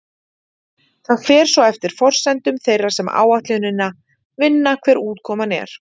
það fer svo eftir forsendum þeirra sem áætlunina vinna hver útkoman er